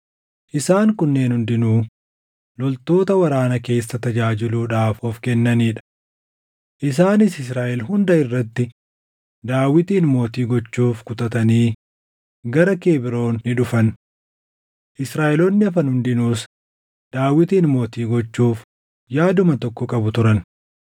Isaan kunneen hundinuu loltoota waraana keessa tajaajiluudhaaf of kennanii dha. Isaanis Israaʼel hunda irratti Daawitin mootii gochuuf kutatanii gara Kebroon ni dhufan. Israaʼeloonni hafan hundinuus Daawitin mootii gochuuf yaaduma tokko qabu turan.